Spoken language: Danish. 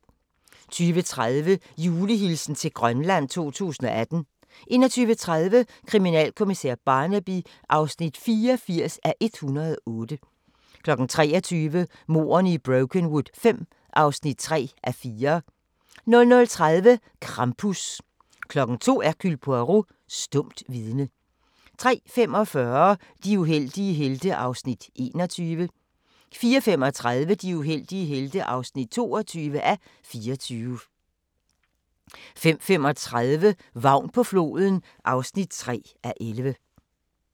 20:30: Julehilsen til Grønland 2018 21:30: Kriminalkommissær Barnaby (84:108) 23:00: Mordene i Brokenwood V (3:4) 00:30: Krampus 02:00: Hercule Poirot: Stumt vidne 03:45: De uheldige helte (21:24) 04:35: De uheldige helte (22:24) 05:35: Vagn på floden (3:11)